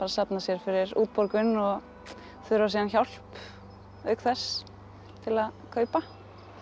safna sér fyrir útborgun og þurfa síðan hjálp auk þess til að kaupa